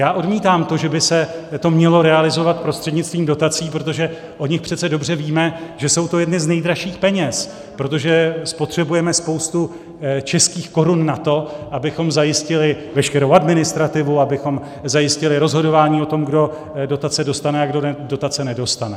Já odmítám to, že by se to mělo realizovat prostřednictvím dotací, protože o nich přece dobře víme, že jsou to jedny z nejdražších peněz, protože spotřebujeme spoustu českých korun na to, abychom zajistili veškerou administrativu, abychom zajistili rozhodování o tom, kdo dotace dostane a kdo dotace nedostane.